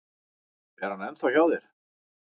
Er hann ennþá hjá þér?